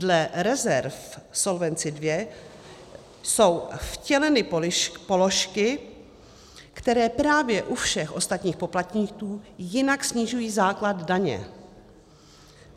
Dle rezerv Solvency II jsou vtěleny položky, které právě u všech ostatních poplatníků jinak snižují základ daně.